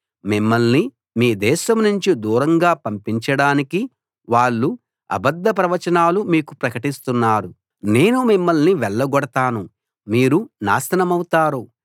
మిమ్మల్ని మీ దేశం నుంచి దూరంగా పంపించడానికి వాళ్ళు అబద్ధ ప్రవచనాలు మీకు ప్రకటిస్తున్నారు నేను మిమ్మల్ని వెళ్లగొడతాను మీరు నాశనమవుతారు